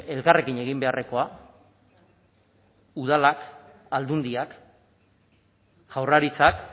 elkarrekin egin beharrekoa udalak aldundiak jaurlaritzak